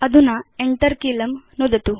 अधुना Enter कीलं नुदतु